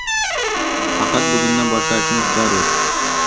Faqat bugundan boshlashingiz zarur.